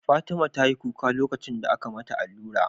Fatima tayi kuka lokacin da aka mata allura